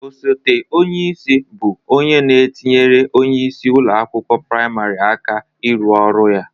Osete onyeisi bụ onye na-etinyere onyeisi ụlọ akwụkwọ prịmarị aka ịrụ ọrụ ya.